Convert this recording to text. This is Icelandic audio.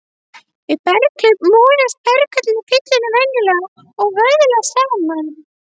Við berghlaup molast berglögin í fyllunni venjulega og vöðlast saman.